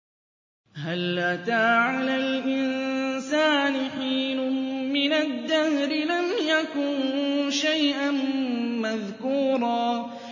هَلْ أَتَىٰ عَلَى الْإِنسَانِ حِينٌ مِّنَ الدَّهْرِ لَمْ يَكُن شَيْئًا مَّذْكُورًا